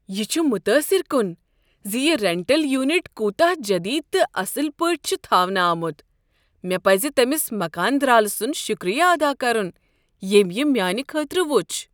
یہ چھ متاثر کن ز یہ رینٹل یونٹ کوتاہ جدید تہٕ اصل پٲٹھۍ چھ تھاونہٕ آمت۔ مےٚ پزِ تٔمس مکان درالہٕ سند شکریہ ادا کرن ییٚمۍ یہ میانِہ خٲطرٕ وچھ۔